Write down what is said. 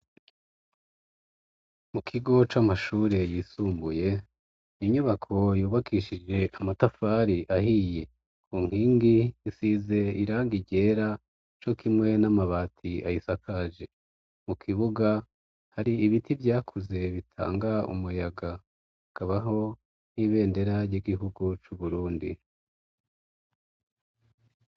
Mu kigo c'amashure yisumbuye inyubako yubakishije amatafari ahiye ku nkingi nsize iraga irera co kimwe n'amabati ayisakaje mu kibuga hari ibiti vyakuze bitanga umuyaga akabaho nibenderary'igihugu c'uburundi.